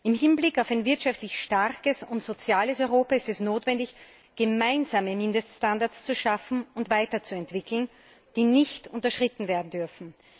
Im Hinblick auf ein wirtschaftlich starkes und soziales Europa ist es notwendig, gemeinsame Mindeststandards zu schaffen und weiterzuentwickeln, die nicht unterschritten werden dürfen.